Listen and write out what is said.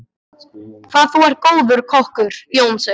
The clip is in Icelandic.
Hvað þú er góður kokkur, Jónsi.